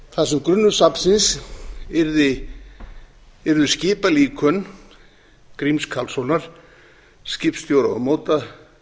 þar sem grunnur safnsins yrðu skipalíkön gríms karlssonar skipstjóra og